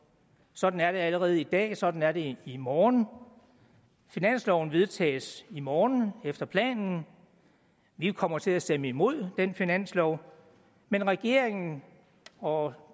sådan er det allerede i dag sådan er det i morgen finansloven vedtages i morgen efter planen vi kommer til at stemme imod den finanslov men regeringen og